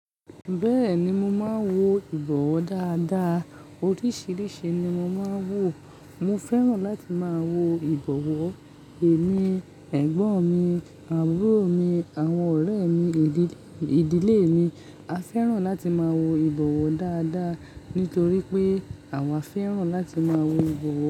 Bẹ́ẹ̀ni mo máa ń wo ìbọ̀wọ̀ dáadáa. Oríṣìíríṣìí ni mo máa ń wò. Mo fẹ́ràn láti máa wo ìbọ̀wọ̀. Èmi, ẹ̀gbọ́n mi, àbúrò mi, àwọn ọ̀rẹ́ mi, ìdílé mi. A fẹ́ràn láti máa wo ìbọ̀wọ̀ dáadáa. Nítorí pé àwọn fẹ́ràn láti máa wo ìbọ̀wọ̀.